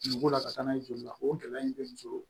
Dugukolo la ka taa n'a ye joli la o gɛlɛya in bɛ muso